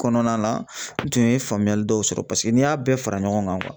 Kɔnɔna na n tun ye faamuyali dɔw sɔrɔ paseke n'i y'a bɛɛ fara ɲɔgɔn kan